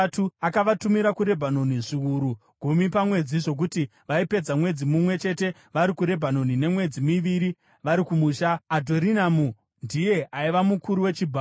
Akavatumira kuRebhanoni, zviuru gumi pamwedzi, zvokuti vaipedza mwedzi mumwe chete vari kuRebhanoni nemwedzi miviri vari kumusha. Adhoniramu ndiye aiva mukuru wechibharo.